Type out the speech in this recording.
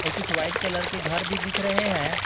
कुछ white colour के घर भी दिख रहे हैं।